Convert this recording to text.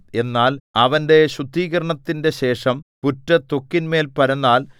എന്നാൽ അവന്റെ ശുദ്ധീകരണത്തിന്റെ ശേഷം പുറ്റു ത്വക്കിന്മേൽ പരന്നാൽ